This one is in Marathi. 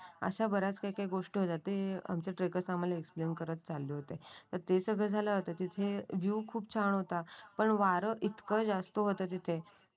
अशा बऱ्याच काही गोष्ट होत्या ते आमचे आमचे ट्रेकर आम्हाला एक्सप्लेन करत चालले होते. ते सगळे झाले होते तिथे व्ह्यू खूप छान होता. पण वारं इतकं जास्त होतं तिथे